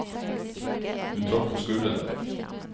Hun trakk på skuldrene.